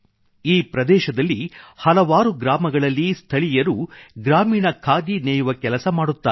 ಈ ಪ್ರದೇಶದಲ್ಲಿ ಹಲವಾರು ಗ್ರಾಮಗಳಲ್ಲಿ ಸ್ಥಳೀಯರು ಗ್ರಾಮೀಣ ಖಾದಿ ನೇಯುವ ಕೆಲಸ ಮಾಡುತ್ತಾರೆ